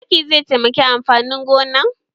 Taki zai taimaki amfanin gonan?